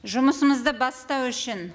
жұмысымызды бастау үшін